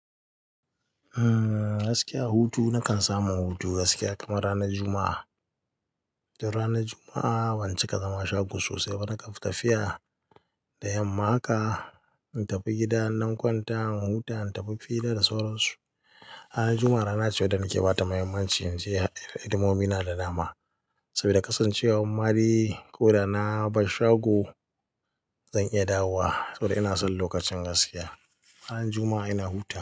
Uhm, gaskiya hutu nakan samu hutu gaskiya kamar ranar Juma'a. Don ranar Juma'a ban cika zama shago sosai ba, na kan tafiya da yamma haka, in tafi gidan na kwanta in huta, in tafi fili da da sauran su. Ranar Juma'a rana ce da nake bata muhimmanci, in ce al'adumomi na da nama. Saboda kasancewar madai ko da na ba shago zan iya dawowa. Saboda ina son lokacin gaskiya. Ranar Juma'a ina huta.